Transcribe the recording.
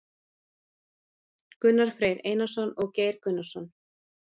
Gunnar Freyr Einarsson og Geir Gunnarsson.